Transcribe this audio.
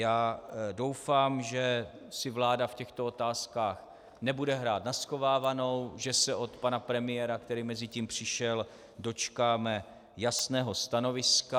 Já doufám, že si vláda v těchto otázkách nebude hrát na schovávanou, že se od pana premiéra, který mezitím přišel, dočkáme jasného stanoviska.